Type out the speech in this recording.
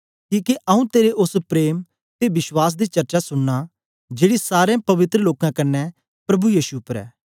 किके आऊँ तेरे ओस प्रेम ते विश्वास दी चर्चा सुनना जेड़ी सारें पवित्र लोकें कन्ने प्रभु यीशु उपर ऐ